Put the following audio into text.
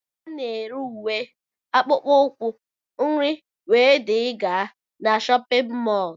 Ana ere ùwé, akpụkpọ ukwu, nri wdg na shóppin mol